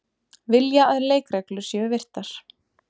Vilja að leikreglur séu virtar